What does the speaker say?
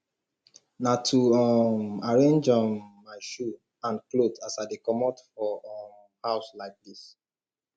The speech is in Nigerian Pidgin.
na to um arrange um my shoe and clothe as i dey comot for um house like dis